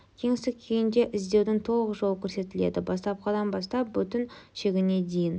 кеңістік күйінде іздеудің толық жолы көрсетіледі бастапқыдан бастап бүтін шегіне дейін